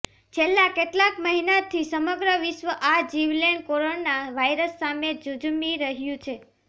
છેલ્લા કેટલાક મહિનાથી સમગ્ર વિશ્વ આ જીવલેણ કોરોના વાયરસ સામે ઝઝૂમી રહ્યું છે